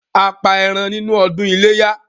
A pa ẹran nínú ọdún ilé yá